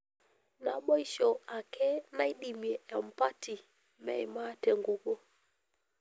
Naboisho ake naidimie empati meima tenkukuo.